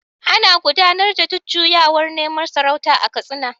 Ana gudanar da jujjuyawar neman sarauta a Katsina.